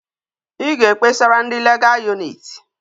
I ga ekpesara ndi legal unit